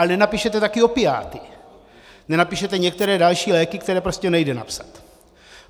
Ale nenapíšete také opiáty, nenapíšete některé další léky, které prostě nejde napsat.